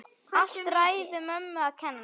Allt ræðu mömmu að kenna!